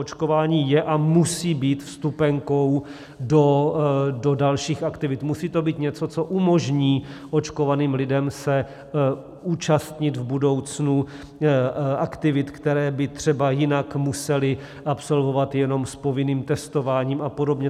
Očkování je a musí být vstupenkou do dalších aktivit, musí to být něco, co umožní očkovaným lidem se účastnit v budoucnu aktivit, které by třeba jinak museli absolvovat jenom s povinným testováním a podobně.